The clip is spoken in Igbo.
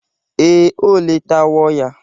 Ee, o letawo ya.